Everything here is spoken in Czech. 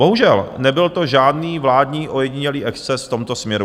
Bohužel, nebyl to žádný vládní ojedinělý exces v tomto směru.